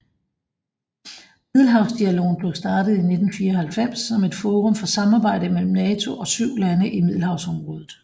Middelhavsdialogen blev startet i 1994 som et forum for samarbejde mellem NATO og syv lande i Middelhavsområdet